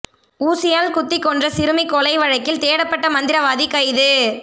ஊசியால் குத்திக் கொன்ற சிறுமி கொலை வழக்கில் தேடப்பட்ட மந்திரவாதி கைது